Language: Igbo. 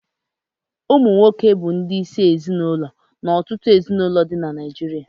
Ụmụnwoke bụ ndị isi ezinụlọ na ọtụtụ ezinụlọ dị na Naijiria